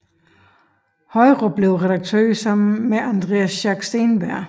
Højrup blev redaktør sammen med Andreas Schack Steenberg